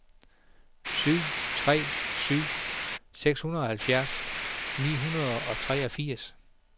syv tre tre syv seksoghalvfjerds ni hundrede og treogfirs